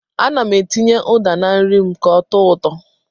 Ana m etinye ụda na nri m ka ọ tọọ ụtọ.